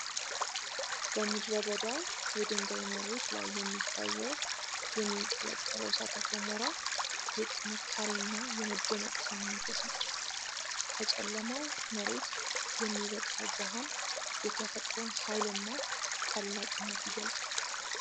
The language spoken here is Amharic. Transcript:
በምድረ በዳው የድንጋይ መሬት ላይ የሚታየው የሚያንቀለቀለው እሳተ ገሞራ የጥንካሬና የመደነቅ ስሜት ያሳድራል። ከጨለማው መሬት የሚወጣው ብርሃን የተፈጥሮን ኃይልና ታላቅነት ይገልጻል።